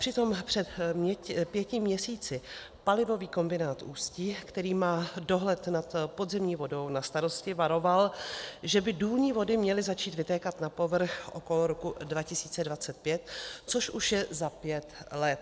Přitom před pěti měsíci Palivový kombinát Ústí, který má dohled nad podzemní vodou na starosti, varoval, že by důlní vody měly začít vytékat na povrch okolo roku 2025, což už je za pět let.